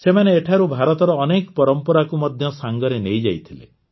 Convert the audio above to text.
ସେମାନେ ଏଠାରୁ ଭାରତର ଅନେକ ପରମ୍ପରାକୁ ମଧ୍ୟ ସାଙ୍ଗରେ ନେଇଯାଇଥିଲେ